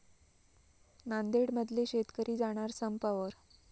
नांदेडमधले शेतकरी जाणार संपावर